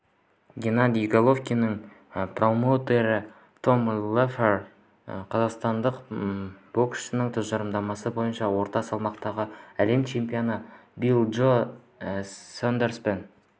геннадий головкиннің промоутері том леффлер қазақстандық боксшының тұжырымдамасы бойынша орта салмақтағы әлем чемпионы билли джо сондерспен